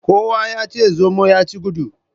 Kowa ya ci zomo ya ci gudu.